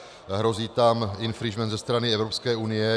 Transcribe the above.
Hrozí tam infringement ze strany Evropské unie.